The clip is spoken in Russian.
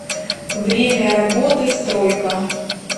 время работы стройка